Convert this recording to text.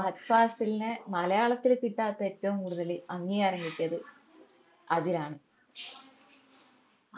ഫഹദ് ഫാസിലിനെ മലയാളത്തിൽ കിട്ടാത്ത ഏറ്റവും കൂടുതല് അംഗീകാരം കിട്ടിയത് അതിനാണ്